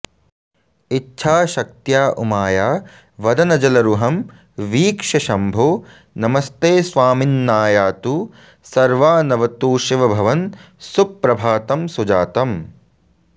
इच्छाशक्त्या उमाया वदनजलरुहं वीक्ष्य शम्भो नमस्ते स्वामिन्नायातु सर्वानवतु शिवभवन् सुप्रभातं सुजातम्